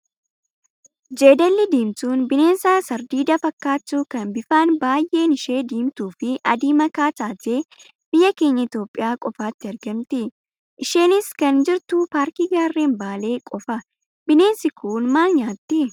Jeedalli diimtuun bineensa sardiidaa fakkaattu kan bifaan baay'een ishee diimtuu fi adii makaa taatee biyya keenya Itoophiyaa qofaatti argamti. Isheenis kan jirtu paarkii gaarren baalee qofa. Bineensi kun maal nyaattii?